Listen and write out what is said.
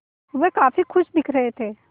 वह काफ़ी खुश दिख रहे थे